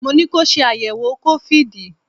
Mo ní ko ṣe àyẹ̀wò COVID!